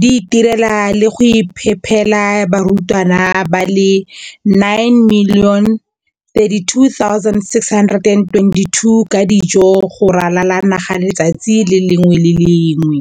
di itirela le go iphepela barutwana ba le 9 032 622 ka dijo go ralala naga letsatsi le lengwe le le lengwe.